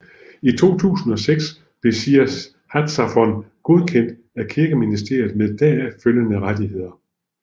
I 2006 blev Shir Hatzafon godkendt af Kirkeministeriet med deraf følgende rettigheder